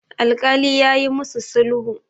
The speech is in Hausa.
alkali ya yi musu sulhu